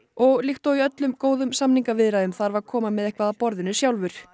og líkt og í öllum góðum samningaviðræðum þarf að koma með eitthvað að borðinu sjálfur